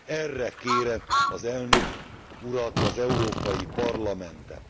Erre kérem az Elnök Urat, az Európai Parlamentet.